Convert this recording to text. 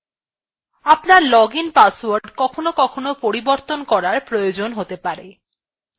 আপনার login password কখনও কখনও পরিবর্তন করার প্রয়োজন হতে পারে